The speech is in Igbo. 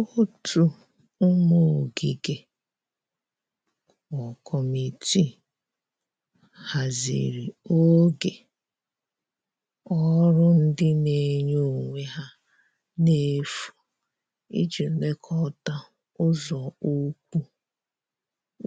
ótu ụmụ ogige Kọmitịị hazịrị oge ọrụ ndi n'enye onwe ha n'efu ịji lekota ụzo ụkwụ